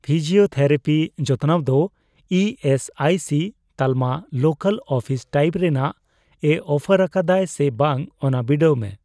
Physiotherapy ᱡᱚᱛᱚᱱᱟᱣ ᱫᱚ E S I C ᱛᱟᱞᱢᱟ ᱞᱳᱠᱟᱞ ᱚᱯᱷᱤᱥ ᱴᱟᱭᱤᱯ ᱨᱮᱱᱟᱜ ᱮ ᱚᱯᱷᱟᱨ ᱟᱠᱟᱫᱟᱭ ᱥᱮ ᱵᱟᱝ ᱚᱱᱟ ᱵᱤᱰᱟᱹᱣ ᱢᱮ ᱾